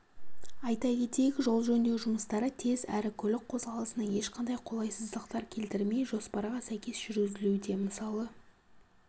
айта кетейік жол жөндеу жұмыстары тез әрі көлік қозғалысына ешқандай қолайсыздықтар келтірмей жоспарға сәйкес жүргізілуде мысалы